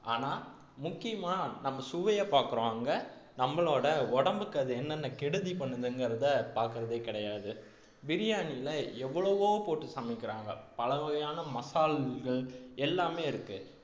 ஆனா முக்கியமா நம்ம சுவையைப் பார்க்கிறோம் அங்க நம்மளோட உடம்புக்கு அது என்னென்ன கெடுதி பண்ணுதுங்கிறதை பார்க்கிறதே கிடையாது பிரியாணில எவ்வளவோ போட்டு சமைக்கிறாங்க பல வகையான மசால்கள் எல்லாமே இருக்கு